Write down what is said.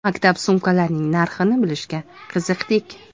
Maktab sumkalarining narxini bilishga qiziqdik.